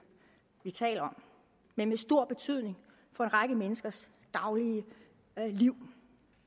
vi taler om men med stor betydning for en række menneskers daglige liv